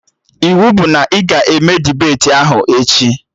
Iwu bụ na ị ga-eme dibeti ahụ echi!